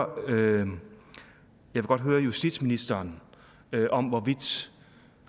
vil godt høre justitsministeren om hvorvidt